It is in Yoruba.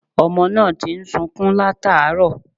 Ọmọ náà ti ń sukún làtàárọ̀